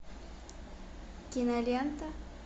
кинолента